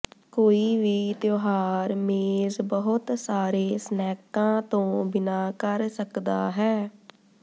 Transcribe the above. ਕੋਈ ਵੀ ਤਿਉਹਾਰ ਮੇਜ਼ ਬਹੁਤ ਸਾਰੇ ਸਨੈਕਾਂ ਤੋਂ ਬਿਨਾਂ ਕਰ ਸਕਦਾ ਹੈ